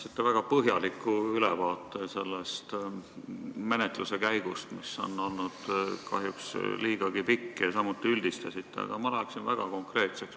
Te andsite väga põhjaliku ülevaate selle menetluse käigust, mis on olnud kahjuks liigagi pikk, ja samuti üldistasite, aga mina läheksin väga konkreetseks.